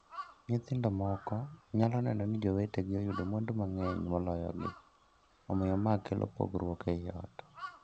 Nyithindo moko nyalo neno ni jowetegi oyudo mwandu mang'eny moloyogi, omiyo ma kelo pogruok ei joot.